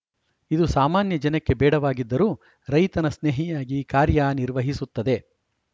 ಇದು ಸಾಮಾನ್ಯ ಜನಕ್ಕೆ ಬೇಡವಾಗಿದ್ದರೂ ರೈತನ ಸ್ನೇಹಿಯಾಗಿ ಕಾರ್ಯನಿರ್ವಹಿಸುತ್ತದೆ